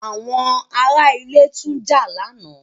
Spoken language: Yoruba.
Àwọn ará ilé tún jà lánàá.